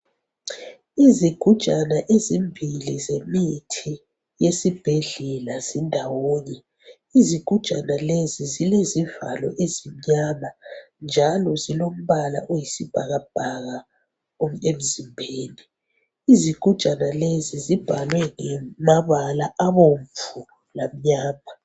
Izigujana ezimbili zemithi yesibhedlela zindawonye izigujana lezi zilezivalo ezimnyama njalo zilombala oyisibhakabhaka emzimbeni izigujana lezi zibhalwe ngamabala abomvu lamnyama